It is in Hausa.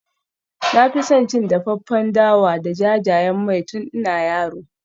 Na fi son cin dafaffen dawa da jajayen mai tun ina yaro.